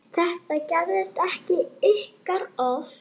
Þetta gerist ekki ýkja oft.